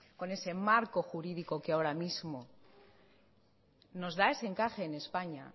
con ese marco jurídico que ahora mismo nos da ese encaje en españa